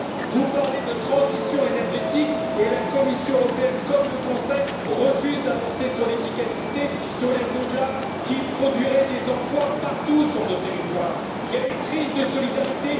Vous parlez de transition énergétique et la Commission européenne, comme le Conseil, refuse d'avancer sur l'efficacité ou sur les renouvelables, qui produiraient pourtant des emplois partout sur notre territoire. Nous sommes confrontés à une crise de la solidarité.